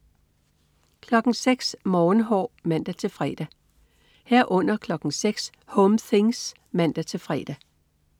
06.00 Morgenhår (man-fre) 06.00 Home things (man-fre)